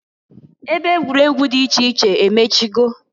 Ebe egwuregwu dị iche iche emechigo.